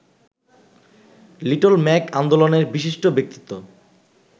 little mag আন্দোলনের বিশিষ্ট ব্যক্তিত্ব